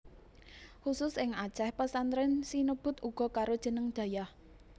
Khusus ing Aceh pesantren sinebut uga karo jeneng dayah